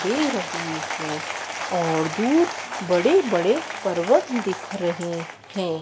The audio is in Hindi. दे रही है और दूर बड़े बड़े पर्वत दिख रहे हैं।